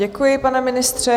Děkuji, pane ministře.